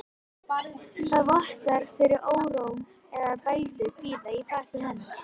Það vottar fyrir óró eða bældum kvíða í fasi hennar.